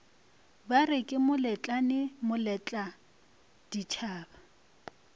bare ke moletlane moletla ditšhaba